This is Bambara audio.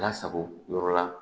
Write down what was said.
Lasago yɔrɔ la